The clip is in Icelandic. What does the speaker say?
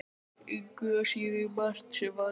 Engu að síður margt sem valið er.